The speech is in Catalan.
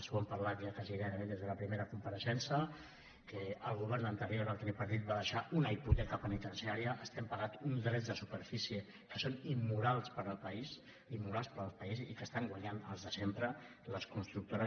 ho hem parlat ja quasi gairebé des de la primera compareixença que el govern anterior el tripartit va deixar una hipoteca penitenciaria estem pagant uns drets de superfície que són immorals per al país i que hi estan guanyant els de sempre les constructores